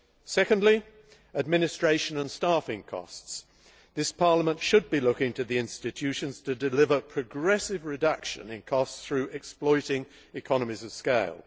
Secondly, administration and staffing costs. This Parliament should be looking to the institutions to deliver a progressive reduction in costs through exploiting economies of scale.